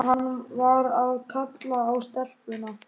Skýrleika, skýrleika, fyrir alla muni skýrleika!